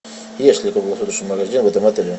есть ли круглосуточный магазин в этом отеле